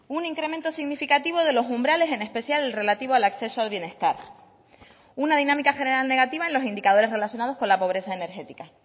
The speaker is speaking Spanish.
un incremento significativo de los umbrales en especial el relativo al acceso al bienestar una dinámica general negativa en los indicadores relacionados con la pobreza energética